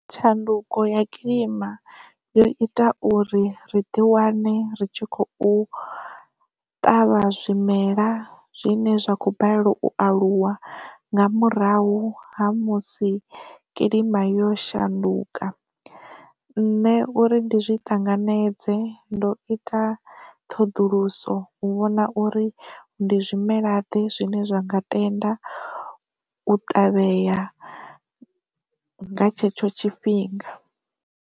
Tshanduko ya kilima yo ita uri ri ḓi wane ri tshi khou ṱavha zwimela zwine zwa kho balelwa u aluwa nga murahu ha musi kilima yo shanduka, nṋe uri ndi zwi tanganedze ndo ita ṱhoḓuluso u vhona uri ndi zwimela ḓe zwine zwa nga tenda u ṱavhea nga tshetsho tshifhinga.